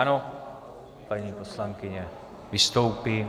Ano, paní poslankyně vystoupí.